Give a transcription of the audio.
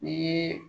Ni